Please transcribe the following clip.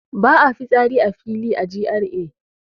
Ba a fitsari a fili a GRA